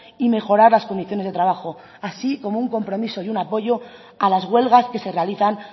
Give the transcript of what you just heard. y mejorar las condiciones de trabajo así como un compromiso y un apoyo a las huelgas que se realizan